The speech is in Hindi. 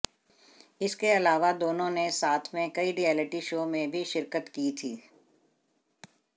इसके अलावा दोनों ने साथ में कई रियलिटी शो में भी शिरकत की थी